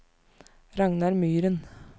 Ragnar Myren